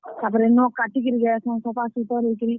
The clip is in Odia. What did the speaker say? ତାପ୍ ରେ ନଖ୍ କାଟିକରି ଯାଏସନ୍ ସଫାସୁତର୍ ହେଇକରି।